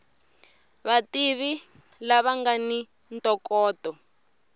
vativi lava nga ni ntokoto